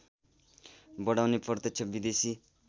बढाउने प्रत्यक्ष विदेशी